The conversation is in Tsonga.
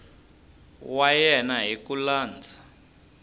wa yena hi ku landza